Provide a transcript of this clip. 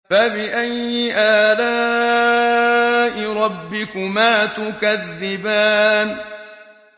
فَبِأَيِّ آلَاءِ رَبِّكُمَا تُكَذِّبَانِ